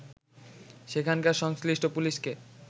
সেখানকার সংশ্লিষ্ট পুলিশকে